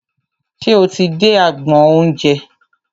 Ṣe o ti dé agbọn oúnjẹ?